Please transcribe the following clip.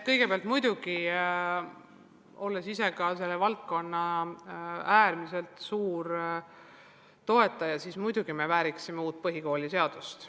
Kõigepealt, olles ka ise selle valdkonna äärmiselt suur toetaja, arvan ka mina, et muidugi me vääriksime uut põhikooliseadust.